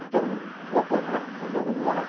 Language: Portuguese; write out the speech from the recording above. Então, vou apanhar, mas minha mãe não vai.